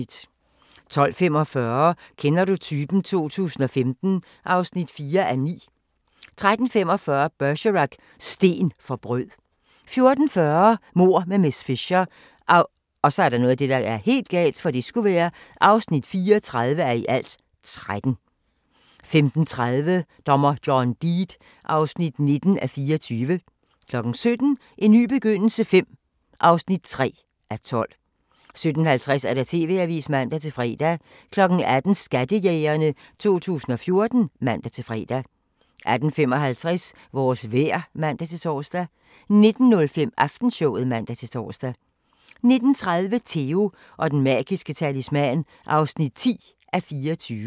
12:45: Kender du typen? 2015 (4:9) 13:45: Bergerac: Sten for brød 14:40: Mord med miss Fisher (34:13) 15:30: Dommer John Deed (19:29) 17:00: En ny begyndelse V (3:12) 17:50: TV-avisen (man-fre) 18:00: Skattejægerne 2014 (man-fre) 18:55: Vores vejr (man-tor) 19:05: Aftenshowet (man-tor) 19:30: Theo & den magiske talisman (10:24)